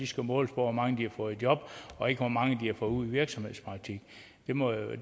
skal måles på hvor mange de har fået et job og ikke hvor mange de har fået ud i virksomhedspraktik det må jo